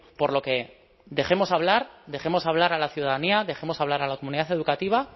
por lo que dejemos hablar a la ciudadanía dejemos hablar a la comunidad educativa